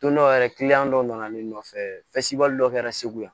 Don dɔ yɛrɛ dɔ nana ne nɔfɛsibali dɔ kɛra segu yan